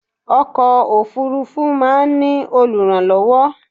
Ọkọ̀ òfúrúfú máa ń ní olùrànlọ́wọ́.